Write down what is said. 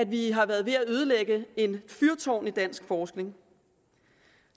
vi har været ved at ødelægge et fyrtårn i dansk forskning